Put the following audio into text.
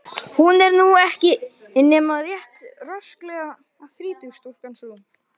Hún er nú ekki nema rétt rösklega þrítug stúlkan sú.